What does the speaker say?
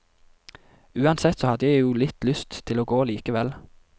Uansett så hadde jeg jo litt lyst til å gå likevel.